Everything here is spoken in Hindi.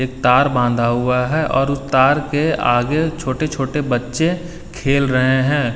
तार बांधा हुआ है और उस तार के आगे छोटे छोटे बच्चे खेल रहे है।